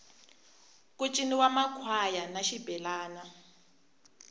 ku ciniwa makhwaya na xibelani